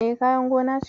E, kayan gona ce.